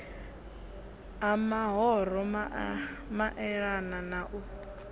ha mahoro maelana na u